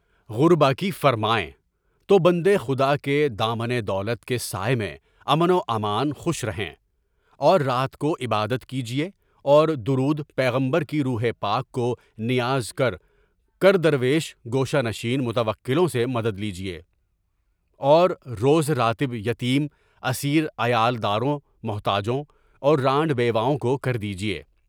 غربا کی فرمائے، تو بندے خدا کے دامن دولت کے سایہ میں امن و امان میں خوش رہیں، اور رات کو عبادت کیجیے اور دردِ پیغمبر کی روح پاک کو نیاز کر کے درویش گوشہ نشین متوکلین سے مدد کیجیے، اور روز رات یتیم، اسیر، عیالداروں، محتاجوں اور رانڈ بیواؤں کو خیرات کردیجیے۔